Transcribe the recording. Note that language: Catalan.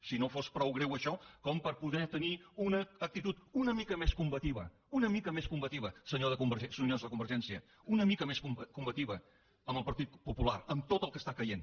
si no fos prou greu això com per poder tenir una actitud una mica més combativa una mica més combativa senyors de convergència una mica més combativa amb el partit popular amb tot el que està caient